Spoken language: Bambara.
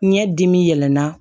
Ɲɛ dimi yɛlɛnna